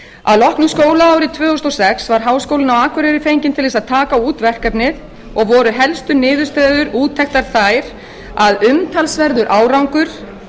að loknu skólaári tvö þúsund og sex var háskólinn á akureyri fenginn til þess að taka út verkefnið og voru helstu niðurstöður úttektar þær að umtalsverður